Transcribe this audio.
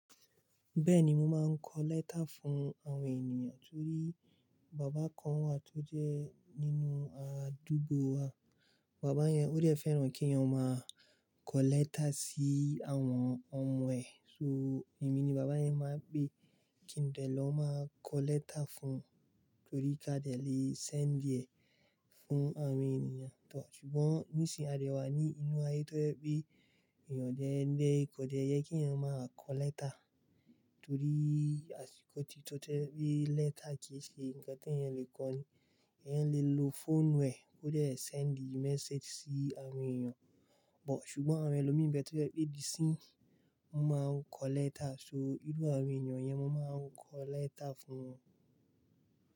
Bẹ́ẹ̀ni, mo máa ń kọ lẹ́tà fún àwọn ènìyàn torí bàbá kan wà tó jẹ́ nínú àdúgbò wa. Bàbá yẹn ó dẹ̀ fẹ́ràn kí eeyan máa kọ lẹ́tà sí àwọn ọmọ ẹ̀, so èmi ni bàbá yẹn máa ń pè kí n dẹ̀ lọ máa kọ lẹ́tà fún un torí ká dẹ̀ lè send ẹ̀ fún àwọn ènìyàn. Ṣùgbọ́n nísìnyi à dẹ wà ní inú ayé tó jẹ́ pé èèyàn odé kò dẹ́ yẹ kí eeyan máa kọ lẹ́tà torí àsìkò tí tó to jẹ́ pé lẹ́tà kì í ṣe ǹnkan tí èèyàn lè kọ. Èèyàn lè lo phone ẹ̀ kó dé send message sí àwọn èèyàn, but ṣùgbọ́n àwọn ẹlòmíi n be tó jẹ́ pé díi isínyi, wọ́n máa ń kọ lẹ́tà. So, irú àwọn èèyàn yẹn mo máa ń kọ lẹ́tà fún won.